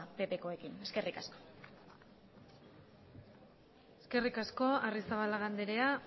ppkoekin eskerrik asko eskerrik asko arrizabalaga andrea